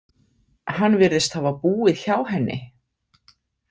Hann virðist hafa búið hjá henni.